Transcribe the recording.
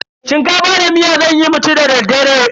Shinkafa da miya zanyi mu ci da daddare.